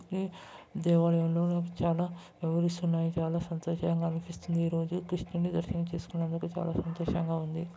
The దేవాలయంలో చాలా చాలా సంతోషంగా అనిపిస్తుంది ఈరోజు కృష్ణున్ని దర్శనం చేసుకున్నందుకు చాలా సంతోషంగా ఉంది.